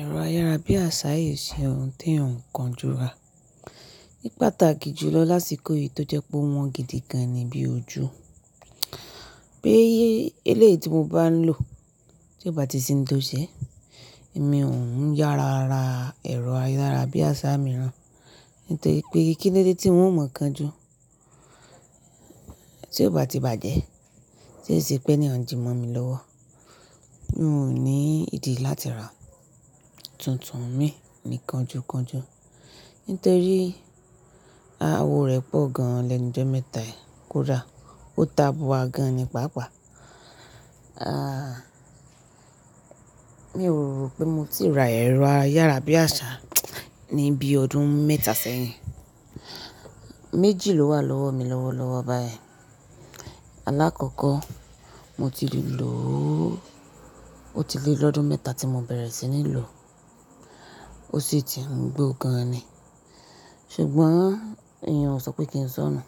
Ẹ̀rọ ayárabíàṣá yìí ṣe ohun tó n kan jura. Ní pàtàkì jù lọ lásìkò yìí tó jẹ́ pé ó wọ́n gidi gan ni bí ojú. Bí eléèti mo bá ń lò tí ó bá ti sin tó ṣẹ, èmi ò ń yára ra ẹ̀rọ ayárabíàṣá mìíràn. Nítorí pé kíni dé tí n ò mọ̀ kan ju. Tí ó bá ti bàjẹ́, ṣé ṣe pé ni wọ́n jẹ mọ́ mi lọ́wọ́. N ò ní ìdí láti ra tuntun mi ní kanju kanju. Nítorí awo rẹ̀ pọ̀ gan, lẹ́nu jọ mẹ́ta kódà ó ta búra gan ni pàápàá. Ah, mi ò rò pé mo ti rà ẹ̀rọ ayárabíàṣá ní bí ọdún mẹ́ta sẹ́yìn. Méjì ló wà lọ́wọ́ mi lọ́wọ́ lọ́wọ́ báyìí. Alákọ̀ọ́kọ́ mo ti rí lò ó, ó ti lé lọ́dún mẹ́ta tí mo bẹ̀rẹ̀ sí ní lò ó, ó sì ti ń gbó gan ni. Ṣùgbọ́n èèyàn ò sọ pé kí n sọ nù,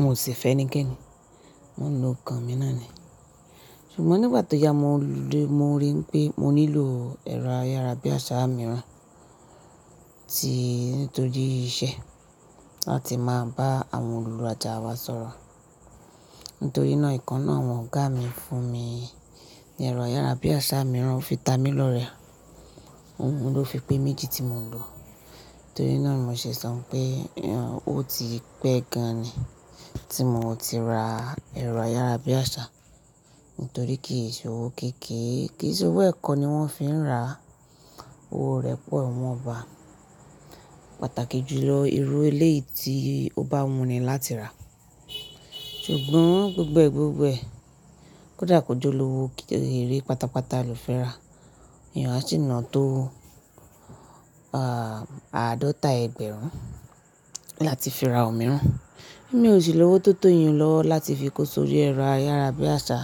mo sì fẹ́ ní kí n nú, mo ń lo kan mi náà ni. Ṣùgbọ́n nígbà tí ya mo de, mo rí i pé mo nílò ẹ̀rọ ayárabíàṣá mìíràn tí nítorí iṣẹ́ láti máa bá àwọn olùlàjà wa sọ̀rọ̀. Nítorí náà ìkan náà ọmọ ọ̀gá mi fún mi ní ẹ̀rọ ayárabíàṣá mìíràn, ó fi ta mi lọ rẹ̀. Òun ló fi pé méjì tí mò ń lò. Nítorí náà mo ṣe sọ pé èèyàn ó ti pẹ́ gan ni tí mo ò ti ra ẹ̀rọ ayárabíàṣá. Nítorí kíyèṣí owó kéké, kíyèṣí owó ẹ̀kọ́ ni wọ́n fi ń ra, owó rẹ̀ pọ̀, wọ́n ò bá a. Pàtàkì jù lọ, irú eléèti ó bá wuni láti rà. Ṣùgbọ́n gbẹ́gbẹ́ gbẹ́gbẹ́ kódà kò jọ lọ́wọ́ kí ó rí pátápátá lò fẹ́ rà. Èèyàn á sì nà án tó ah, àádọ́ta ẹgbẹ̀rún láti fi ra òmíràn. Èmi ò sí lọ́wọ́ tó tó èèyàn lọ́wọ́ láti fi kó sórí ẹ̀rọ ayárabíàṣá.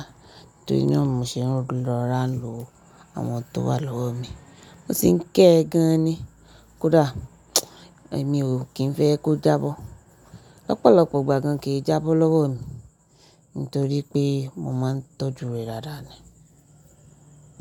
Nítorí náà mò ṣe ń lọ́rawọn lò àwọn tó wà lọ́wọ́ mi. Mo sì ń ké e gan ni. Kódà èmi ò kín fẹ́ kó jábọ́. Ọ̀pọ̀lọpọ̀ ìgbà gan kì í jábọ́ lọ́wọ́ mi nítorí pé mo máa ń tọ́jú rẹ̀ dáadáa ni.